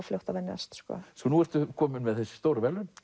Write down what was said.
fljótt að venjast nú ertu komin með þessi stóru verðlaun